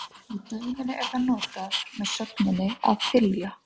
Í dæminu er það notað með sögninni að þylja.